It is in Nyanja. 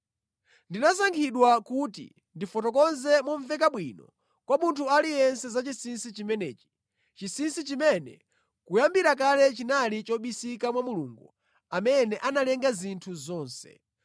Ndinasankhidwa kuti ndifotokoze momveka bwino kwa munthu aliyense za chinsinsi chimenechi, chinsinsi chimene kuyambira kale chinali chobisika mwa Mulungu amene analenga zinthu zonse.